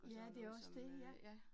Ja, det jo også det ja